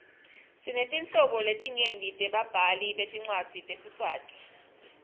sinetinhlobo letinyenti tebabhali betincwadzi tesiswati